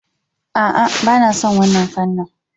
A'a, ba na son wannan fanni.